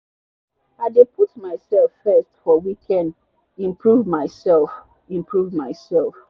i dey put myself first for weekend improve myself. improve myself.